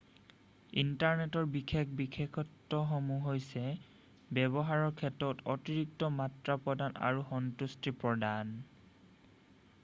ইণ্টাৰনেটৰ বিশেষ বিশেষত্বসমূহ হৈছে ব্যৱহাৰৰ ক্ষেত্ৰত অতিৰিক্ত মাত্ৰা প্ৰদান আৰু সন্তুষ্টি প্ৰদান